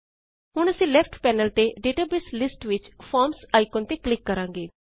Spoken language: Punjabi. ਹੁਣ ਅਸੀ ਲੈਫਟ ਪੈਨਲ ਤੇ ਡੇਟਾਬੇਸ ਲਿਸਟ ਵਿਚ ਫਾਰਮਜ਼ ਆਇਕਨ ਤੇ ਕਲਿਕ ਕਰਾਂਗੇ